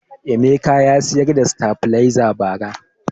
Emeka ya siyar da sitabiliza ba ra